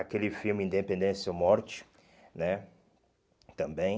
Aquele filme Independência ou Morte né, também.